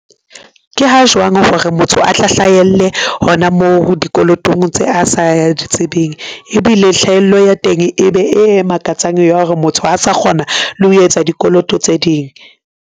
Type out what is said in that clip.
Ke ha jwang hore motho a tla hlahelle hona moo, dikolotong tse a sa di tsebeng? ebile hlahello ya teng e be e makatsang ya hore motho a sa kgona le ho etsa dikoloto tse ding.